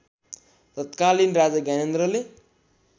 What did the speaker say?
तत्कालीन राजा ज्ञानेन्द्रले